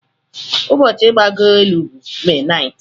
Ụbọchị igbago elu bụ May 9th